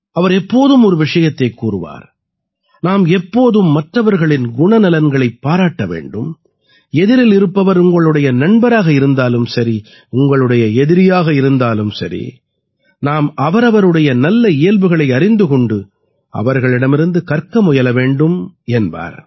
அவர் எப்போதும் ஒரு விஷயத்தைக் கூறுவார் நாம் எப்போதும் மற்றவர்களின் குணநலன்களைப் பாராட்ட வேண்டும் எதிரில் இருப்பவர் உங்களுடைய நண்பராக இருந்தாலும் சரி உங்களுடைய எதிரியாக இருந்தாலும் சரி நாம் அவரவருடைய நல்ல இயல்புகளை அறிந்து கொண்டு அவர்களிடமிருந்து கற்க முயல வேண்டும் என்பார்